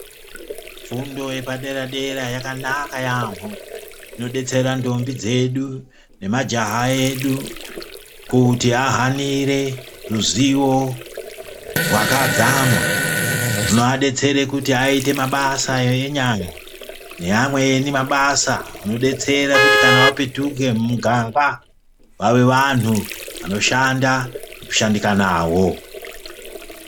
Fundo yepadera-dera yakanaka yaamho. Inodetsera ndombi dzedu nemajaha edu kuti ahanire ruzivo rwakadzama rwunoadetsere kuti aite mabasa enyara neamweni mabasa anodetsere kuti kana vapetuke mumuganga vave vantu vanoshanda nekushandika navo.